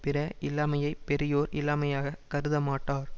பிற இல்லாமையைப் பெரியோர் இல்லாமையாக கருதமாட்டார்